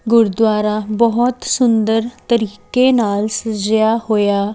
ਗੁਰਦੁਆਰਾ ਬਹੁਤ ਸੁੰਦਰ ਤਰੀਕੇ ਨਾਲ ਸਜੇਯਾ ਜਿਆ ਹੋਇਆ--